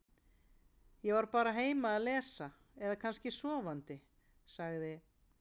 Ég var bara heima að lesa eða kannski sofandi- sagði